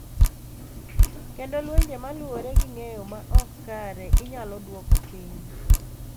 Kendo lwenje ma luwore gi ng’eyo ma ok kare inyalo dwoko piny.